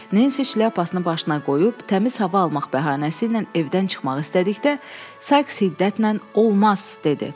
Nensi şlyapasını başına qoyub təmiz hava almaq bəhanəsi ilə evdən çıxmaq istədikdə, Sayks şiddətlə "Olmaz!" dedi.